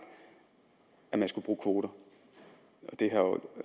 at man skulle bruge kvoter